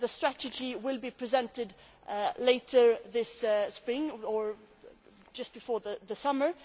The strategy will be presented later this spring or just before the summer.